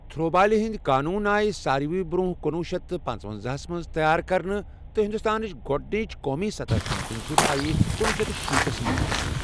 Through بالہِ ہٕنٛدۍ قونوٗن آیہِ سارِوٕے برٛۄنٛہہ کُنوُہ شیٚتھ پانٛژونٛزاہس منٛز تیار کرنہٕ تہٕ ہندوستانٕچ گۄڑنِچ قومی سطحٕچ چیمپیَن شِپ آیہِ کنوہہ شتھ شیٖتس منٛز گِنٛدنہٕ۔